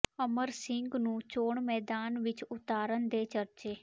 ਅਮਰ ਸਿੰਘ ਨੂੰ ਚੋਣ ਮੈਦਾਨ ਵਿਚ ਉਤਾਰਨ ਦੇ ਚਰਚੇ